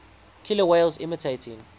killer whales imitating